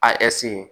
A